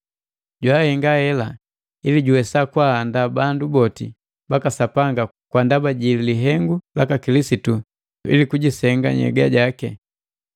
Jahenga hela ili juwesa kwaahandaa bandu boti baka Sapanga kwa ndaba ji lihengu laka Kilisitu ili kujisenga nhyega jaki,